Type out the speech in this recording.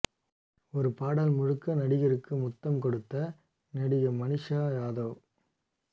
ஒரு பாடல் முழுக்க நடிகருக்கு முத்தம் கொடுத்த நடிகை மனிஷா யாதவ்